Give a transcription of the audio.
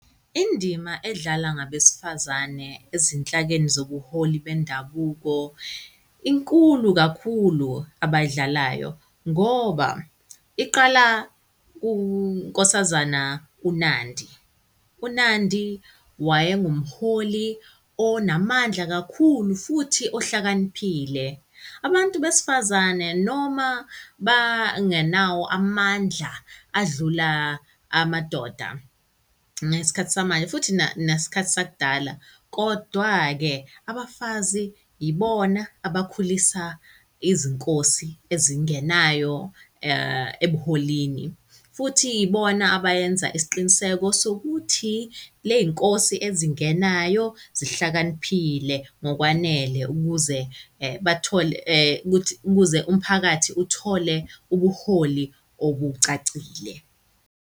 Indima edlalwa ngabesifazane ezinhlakeni zobuholi bendabuko, inkulu kakhulu abay'dlalayo ngoba iqala kuNkosazana uNandi. UNandi waye ngumholi onamandla kakhulu, futhi ohlakaniphile. Abantu besifazane noma bangenawo amandla adlula amadoda ngesikhathi samanje, futhi nesikhathi sakudala. Kodwa-ke abafazi yibona abakhulisa izinkosi ezingenayo ebuholini, futhi ibona abayenza isiqiniseko sokuthi ley'nkosi ezingenayo zihlakaniphile ngokwanele ukuze bathole ukuthi ukuze umphakathi uthole ubuholi obucacile.